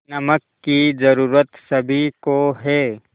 नमक की ज़रूरत सभी को है